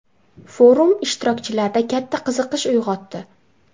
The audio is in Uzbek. Forum ishtirokchilarda katta qiziqish uyg‘otdi.